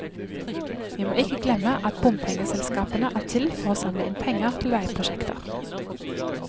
Vi må ikke glemme at bompengeselskapene er til for å samle inn penger til veiprosjekter.